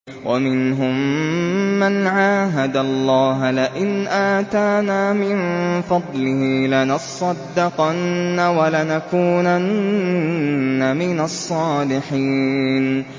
۞ وَمِنْهُم مَّنْ عَاهَدَ اللَّهَ لَئِنْ آتَانَا مِن فَضْلِهِ لَنَصَّدَّقَنَّ وَلَنَكُونَنَّ مِنَ الصَّالِحِينَ